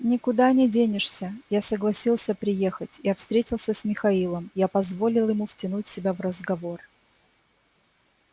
никуда не денешься я согласился приехать я встретился с михаилом я позволил ему втянуть себя в разговор